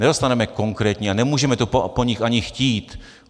Nedostaneme konkrétní a nemůžeme to po nich ani chtít.